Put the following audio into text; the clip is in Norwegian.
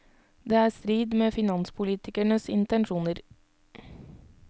Det er i strid med finanspolitikernes intensjoner.